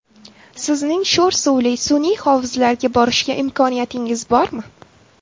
Sizning sho‘r suvli sun’iy hovuzlarga borishga imkoniyatingiz bormi?